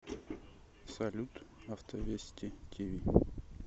салют авто вести ти ви